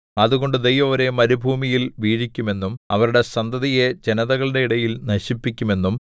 അതുകൊണ്ട് ദൈവം അവരെ മരുഭൂമിയിൽ വീഴിക്കുമെന്നും അവരുടെ സന്തതിയെ ജനതകളുടെ ഇടയിൽ നശിപ്പിക്കുമെന്നും